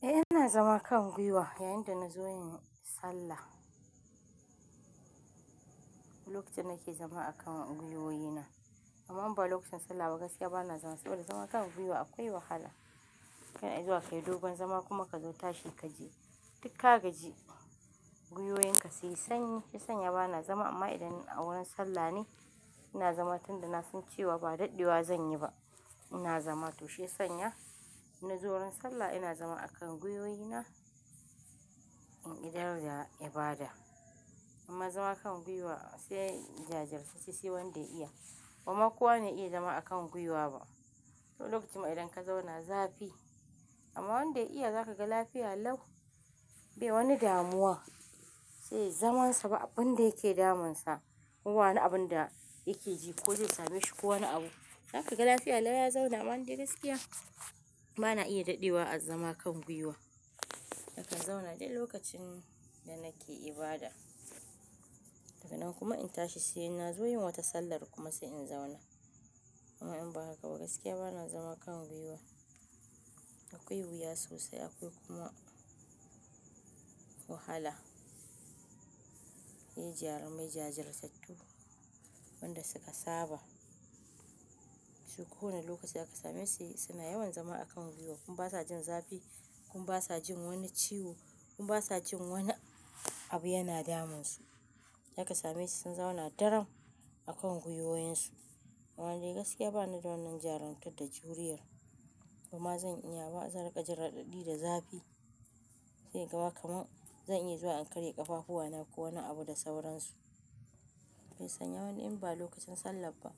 Eh, ina zama kan gwiwa yayin da na zo yin sallah. Lokacin da nake zama a kan gwiwoyi na amma in ba lokacin sallah ba gaskiya bana zama saboda zama a kan gwiwa akwai wahala. Ka i zuwa kayi dogon zama kuma ka zo tashi ka ji. Duk ka gaji gwiwoyin ka suyi sanyi. Shi ya sanya bana zama amma idan a wurin sallah ne ina zama tun da na san cewa ba daɗewa zan yi ba ina zama. To shiyasanya inna zo wurin sallah ina zama a kan gwiwoyi na in idar da ibada amma zama a kan gwiwa sai jajirtacce sai wanda ya iya. Bama kowa ne ya iya zama a kan gwiwa ba. Lokacin ma idan ka zauna zafi amma wanda ya iya za ka ga lafiya lau. Bai wani damuwa sai yayi zaman sa ba abin da yake damun sa ko ba wani abun da yake ji ko zai same shi ko wani abu. Za ka ga lafiya lau ya zauna amma ni dai gaskiya bana iya daɗewa a zama kan gwiwa. Nakan zauna dai lokacin da nake ibada. Daga nan kuma in tashi sai na zo yin wata sallar kuma sai in zauna. Amma in ba haka ba gaskiya bana zama kan gwiwa. Akwai wuya sosai akwai kuma wahala. Sai jarumai jajirtattu, wanda suka saba su ko wane lokaci zaka same su suna yawan zama a kan gwiwa kuma ba sa jin zafi kuma ba sa jin wani ciwo kuma ba sa jin wani abu yana damun su. Za ka same su sun zauna daram a kan gwiwoyinsu. Amma ni gaskiya bani da wannan jarumtan da juriyar kuma zan iya ba zan rika jin radadi da zafi zai gama kamar zan iya zuwa in karya ƙafafuwana ko wani abu da sauransu. Sannan wani in ba lokacin sallah ba